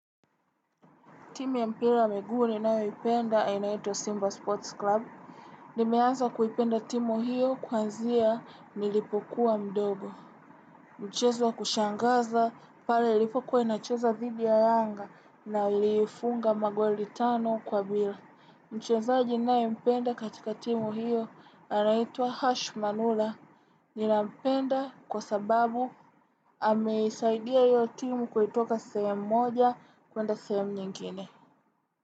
Timu ya mpira wa miguu ninayopenda ainaitwo Simba Sports Club. Nimeanza kuipenda timu hiyo kwazia nilipokuwa mdogo. Mchezo wa kushangaza pale ilipokuwa inacheza dhidi ya anga na ilifunga magoli tano kwa bila. Mchezaji nayempenda katika timu hiyo anaitwa Hash Manula. Ninampenda kwa sababu ameisaidia hiyo timu kuitoka sehemu moja kwenda sehemu nyingine.